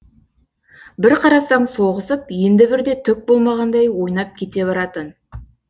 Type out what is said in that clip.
бір қарасаң соғысып енді бірде түк болмағандай ойнап кете баратын